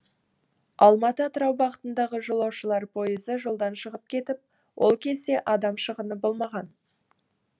алматы атырау бағытындағы жолаушылар пойызы жолдан шығып кетіп ол кезде адам шығыны болмаған